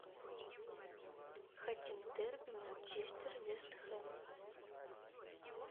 хотим дерби манчестер вест хэм